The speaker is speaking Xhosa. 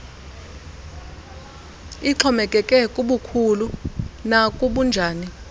ixhomekeke kubukhulu nakubunjani